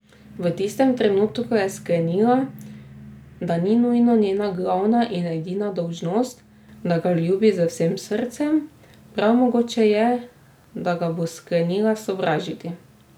V tistem trenutku je sklenila, da ni nujno njena glavna in edina dolžnost, da ga ljubi z vsem srcem, prav mogoče je, da ga bo sklenila sovražiti.